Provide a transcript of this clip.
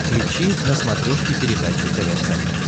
включи на смотрешке передачу тв центр